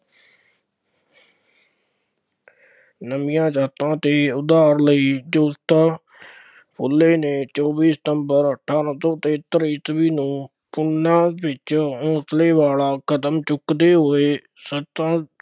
ਨੀਵੀਆਂ ਜਾਤਾਂ ਦੇ ਉਦਾਰ ਲਈ ਜੋਤੀਬਾ ਫੂਲੇ ਨੇ ਚੌਵੀ ਸਤੰਬਰ ਅਠਾਰਾਂ ਸੌ ਤਹੇਤਰ ਈਸਵੀ ਨੂੰ ਪੂਨਾ ਵਿੱਚ ਹੌਂਸਲੇ ਵਾਲਾ ਕਦਮ ਚੁੱਕਦੇ ਹੋਏ